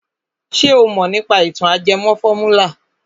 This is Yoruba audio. Ṣé o mọ̀ nípa ìtàn ajẹmọ fọ́múlà?